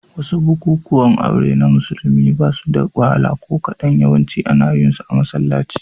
Wasu bukukuwan aure na musulmi ba suda wahala ko kadan, yawanci ana yin su a masallaci.